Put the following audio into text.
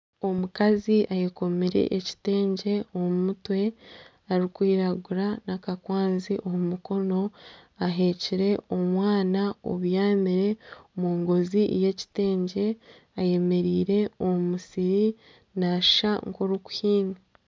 Omukazi ayekomire ekitegye omu mutwe arikwiragura n'akakwanzi omu mukono, ahekire omwana obyamire omungozi y'ekiteegye ayemereire omu musiri naashusha nk'orikuhinga